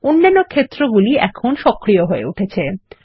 অন্যান্য ক্ষেত্রগুলি এখন সক্রিয় হয়ে উঠেছে